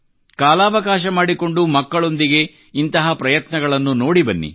ಕಾಲಾವಕಾಶ ಮಾಡಿಕೊಂಡು ಮಕ್ಕಳೊಂದಿಗೆ ಇಂಥ ಪ್ರಯತ್ನಗಳನ್ನು ನೋಡಿ ಬನ್ನಿ